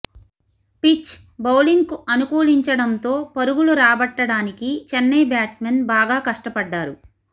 pitch బౌలింగ్కు అనుకూలించడంతో పరుగులు రాబట్టడానికి చెన్నై బ్యాట్స్మెన్ బాగా కష్టపడ్డారు